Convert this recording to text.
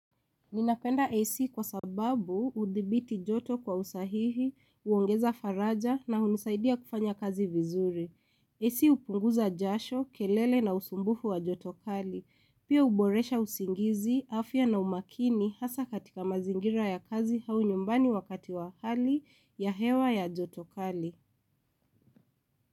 Ninapenda AC kwa sababu hudhibiti joto kwa usahihi, kuongeza faraja na hunisaidia kufanya kazi vizuri. AC hupunguza jasho, kelele na usumbufu wa joto kali. Pia uboresha usingizi, afya na umakini hasa katika mazingira ya kazi au nyumbani wakati wa hali ya hewa ya jotokali.